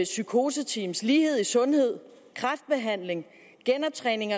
psykoseteam lighed i sundhed kræftbehandling genoptræning